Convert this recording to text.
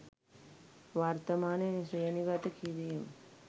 වර්තමානයේ ශ්‍රේණිගත කිරීම්